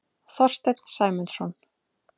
Þorstein Sæmundsson.